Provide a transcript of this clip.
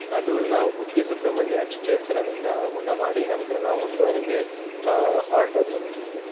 ಅದು ನಾವು ಕುಕ್ಕೆ ಸುಬ್ರಹ್ಮಣ್ಯ ಕ್ಷೇತ್ರದಿಂದ ಊಟ ಮಾಡಿ ನಂತ್ರ ನಾವು ಒಂದುವರೆಗೆ ಅಹ್ ಹೊರಟದ್ದು.